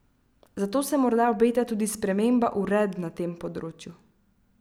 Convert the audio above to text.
Zato se morda obeta tudi sprememba uredb na tem področju.